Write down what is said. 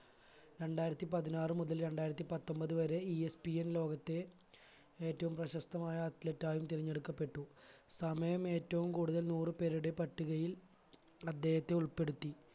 രണ്ടായിരത്തി പതിനാറ് മുതൽ രണ്ടായിരത്തി പത്തൊൻപത് വരെ ESPN ലോകത്തെ ഏറ്റവും പ്രശസ്തമായ athlete ആയും തിരഞ്ഞെടുക്കപ്പെട്ടു സമയം ഏറ്റവും കൂടുതൽ നൂറ് പേരുടെ പട്ടികയിൽ അദ്ദേഹത്തെ ഉൾപ്പെടുത്തി